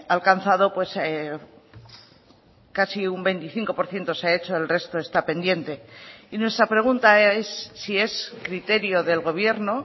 alcanzado casi un veinticinco por ciento se ha hecho el resto esta pendiente y nuestra pregunta es si es criterio del gobierno